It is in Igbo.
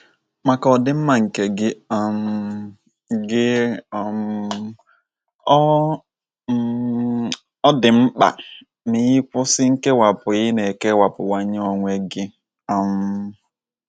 Maka ọdịmma nke gị um gị um, ọ um dị mkpa ma ị kwụsị nkewapụ ị na - ekewapụwanye onwe gị. um